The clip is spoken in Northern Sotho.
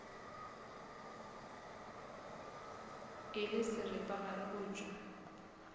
e le seripagare go tšwa